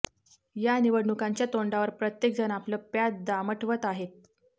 या निवडणुकांच्या तोंडावर प्रत्येक जण आपलं प्याद दामटवत आहे